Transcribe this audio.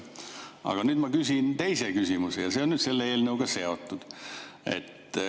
Aga nüüd ma küsin teise küsimuse ja see on selle eelnõuga seotud.